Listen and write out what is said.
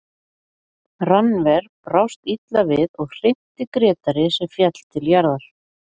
Rannver brást illa við og hrinti Grétari sem féll til jarðar.